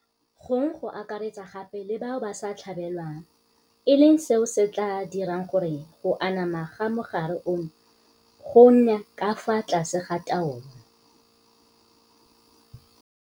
gong go akaretsa gape le bao ba sa tlhabelwang, e leng seo se tla dirang gore go anama ga mogare ono go nne ka fa tlase ga taolo.